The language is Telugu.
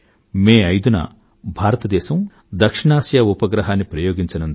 మే 5 న భారత దేశం దక్షిణ ఆసియా ఉపగ్రహాన్ని ప్రయోగించనుంది